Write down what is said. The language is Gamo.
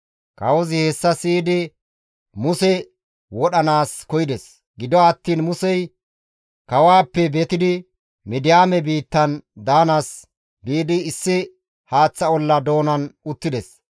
Kawozi hessa siyidi Muse wodhanaas koyides; gido attiin Musey kawaappe betidi Midiyaame biittan daanaas biidi issi haaththa olla doonan uttides.